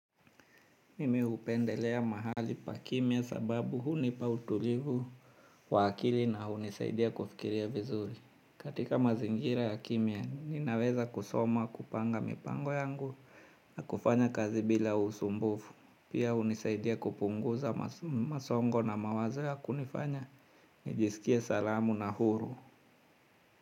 Mimi upendelea mahali pa kimia sababu huni pa utulivu wa akili na hunisaidia kufikiria vizuri. Katika mazingira ya kimya ninaweza kusoma kupanga mipango yangu na kufanya kazi bila usumbufu. Pia hunisaidia kupunguza masongo na mawazo ya kunifanya nijiskia salamu na huru.